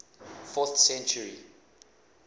fourth century